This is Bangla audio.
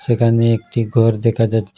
এখানে একটি ঘর দেখা যাচ্ছে।